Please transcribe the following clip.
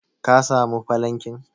ka samu falankin?